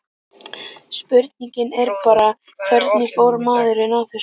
Spurningin er bara, hvernig fór maðurinn að þessu?